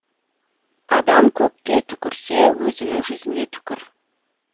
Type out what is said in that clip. адам көкке түкірсе өзінің жүзіне түкір